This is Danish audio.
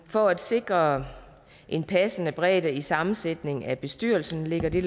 for at sikre en passende bredde i sammensætningen af bestyrelsen lægger det